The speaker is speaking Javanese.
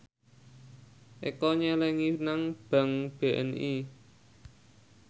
Eko nyelengi nang bank BNI